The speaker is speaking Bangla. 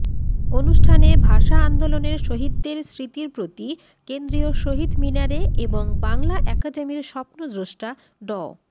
অনুষ্ঠানে ভাষা আন্দোলনের শহীদদের স্মৃতির প্রতি কেন্দ্রীয় শহীদ মিনারে এবং বাংলা একাডেমির স্বপ্নদ্রষ্টা ড